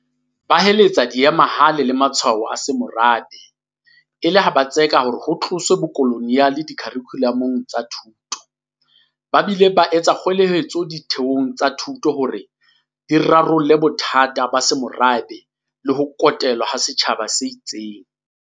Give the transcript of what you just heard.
Ba heletsa diemahale le matshwao a semorabe, e le ho tseka hore ho tloswe bokoloniale dikharikhulamong tsa thuto, ba bile ba etsa kgoeletso ditheong tsa thuto hore di rarolle bothata ba semorabe le ho kotelwa ha setjhaba se itseng.